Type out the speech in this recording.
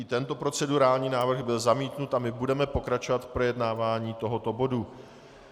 I tento procedurální návrh byl zamítnut a my budeme pokračovat v projednávání tohoto bodu.